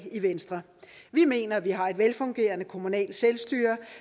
i venstre vi mener at vi har et velfungerende kommunalt selvstyre